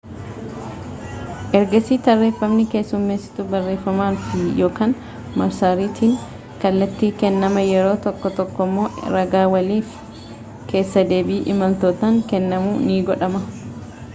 ergaasi tarreefamni keessummeesituu barreeffamaan fi/ykn marsariitiin kallattiin kennama yeroo tokko tokkommoo ragaa waliin fi keessa deebii imaltootaan kennamuun ni godhama